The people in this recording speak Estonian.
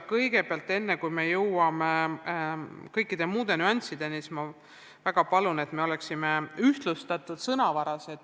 Kõigepealt, enne kui läheme kõikide muude nüanssideni, ma väga palun, et me kasutaksime ühtlustatud sõnavara.